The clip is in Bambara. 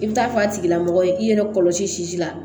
I bɛ taa f'a tigila mɔgɔ ye i yɛrɛ kɔlɔsi la